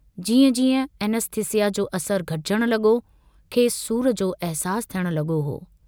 जीअं जीअं ऐनेस्थिस्यिा जो असरु घटिजण लगो खेसि सूर जो अहसासु थियण लगो हो।